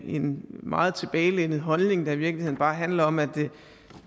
en meget tilbagelænet holdning der i virkeligheden bare handler om at